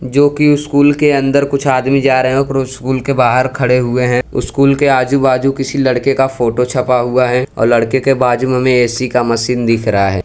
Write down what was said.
जोकि स्कूल के अंदर कुछ आदमी जा रहे हैं स्कूल के बाहर खड़े हुए हैं स्कूल के आजू बाजू किसी लड़के का फोटो छपा हुआ है और लड़के के बाजू हमें ए_सी का मशीन दिख रहा है।